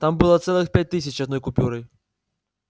там было целых пять тысяч одной купюрой